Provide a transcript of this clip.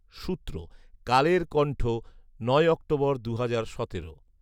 সূত্র, কালের কন্ঠ নয় অক্টোবর, দুহাজার সতেরো